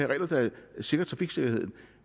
regler der sikrer trafiksikkerheden